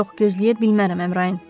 Yox, gözləyə bilmərəm, Əmrayin.